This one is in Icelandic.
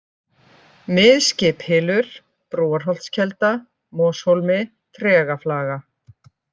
Mið-skiphylur, Brúarholtskelda, Moshólmi, Tregaflaga